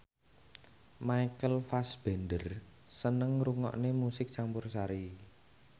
Michael Fassbender seneng ngrungokne musik campursari